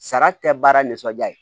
Sara tɛ baara nisɔndiya ye